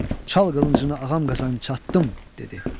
Çal qılıncını Ağam Qazan çattım, dedi.